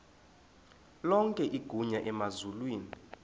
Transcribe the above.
lonke igunya emazulwini